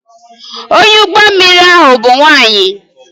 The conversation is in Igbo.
Onye ụgbọ mmiri ahụ bụ nwanyị